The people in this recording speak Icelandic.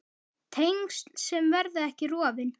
Tengsl sem verða ekki rofin.